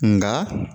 Nka